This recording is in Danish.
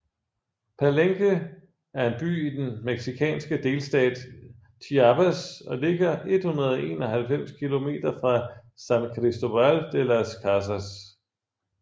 Palenque er en by i den mexikanske delstat Chiapas og ligger 191 km fra San Cristóbal de Las Casas